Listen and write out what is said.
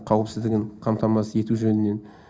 қауіпсіздігін қамтамасыз ету жөнінен